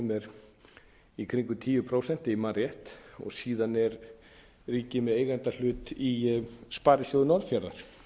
er í kringum tíu prósent ef ég man rétt síðan er ríkið með eigendahlut í sparisjóði norðfjarðar